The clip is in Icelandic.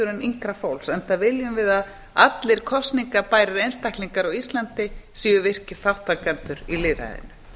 en yngri fólks enda viljum við að allir kosningabærir einstaklingar á íslandi séu virkir þátttakendur í lýðræðinu